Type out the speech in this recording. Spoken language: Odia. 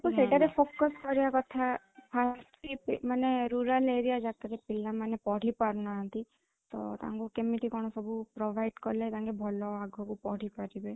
ତ ସେଟା ରେ focus କରିବା କଥା ଆଉ ମାନେ rural area ଯାକର ପିଲାମାନେ ପଢିପାରୁନାହାନ୍ତି ତା ତାଙ୍କୁ କେମିତି କଣ ସବୁ provide କଲେ ତାଙ୍କେ ଭଲ ଆଗକୁ ବଢ଼ିପାରିବେ